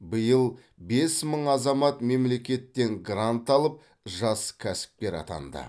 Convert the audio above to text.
биыл бес мың азамат мемлекеттен грант алып жас кәсіпкер атанды